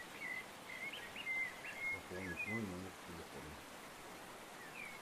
пополнить мой номер телефона